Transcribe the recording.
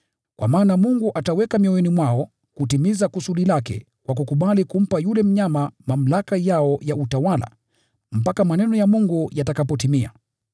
Kwa maana Mungu ameweka mioyoni mwao kutimiza kusudi lake kwa kukubali kumpa yule mnyama mamlaka yao ya utawala mpaka maneno ya Mungu yatakapotimia.